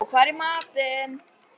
Pabbi þinn er á góðum batavegi.